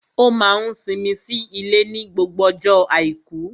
Ó máa n simi sí ilé ní gbogbo ọjọ́ àìkú